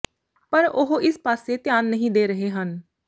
ਪਰ ਉਹ ਇਸ ਪਾਸੇ ਧਿਆਨ ਨਹੀ ਦੇ ਰਹੇ ਹਨ